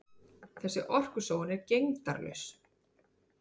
Nú er orkusóun gegndarlaus.